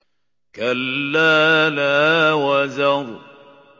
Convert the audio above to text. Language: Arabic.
كَلَّا لَا وَزَرَ